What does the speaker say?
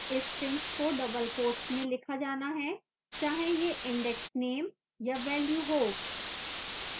strings को double quotes में लिखा जाना है चाहे यह index name या value हो